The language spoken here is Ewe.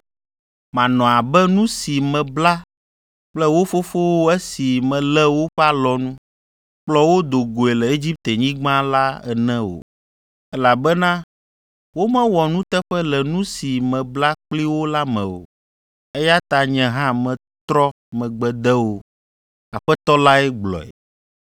Manɔ abe nu si mebla kple wo fofowo esi melé woƒe alɔnu, kplɔ wo do goe le Egiptenyigba la ene o, elabena womewɔ nuteƒe le nu si mebla kpli wo la me o, eya ta nye hã metrɔ megbe de wo. Aƒetɔ lae gblɔe.